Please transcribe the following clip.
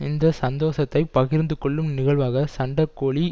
இந்த சந்தோஷத்தை பகிர்ந்து கொள்ளும் நிகழ்வாக சண்டக்கோழி